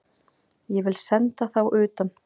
Ég vil senda þá utan!